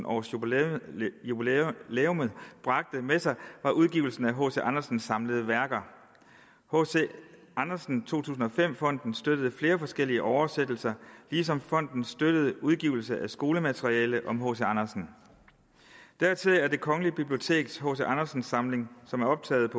års jubilæum jubilæum bragte med sig var udgivelsen af hc andersens samlede værker hc andersen to tusind og fem fonden støttede flere forskellige oversættelser ligesom fonden støttede udgivelse af skolemateriale om hc andersen dertil er det kongelige biblioteks hc andersen samling som er optaget